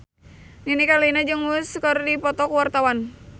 Nini Carlina jeung Muse keur dipoto ku wartawan